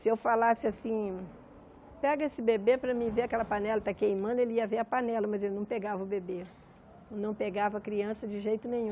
Se eu falasse assim, pega esse bebê para mim, ver aquela panela que está queimando, ele ia ver a panela, mas ele não pegava o bebê, não pegava a criança de jeito nenhum.